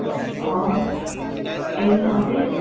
অ, এই ন office